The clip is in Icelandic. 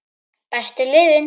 Bestu liðin?